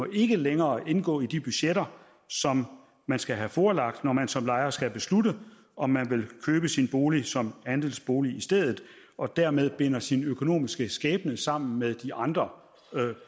ikke længere indgå i de budgetter som man skal have forelagt når man som lejer skal beslutte om man vil købe sin bolig som andelsbolig og dermed binder sin økonomiske skæbne sammen med de andre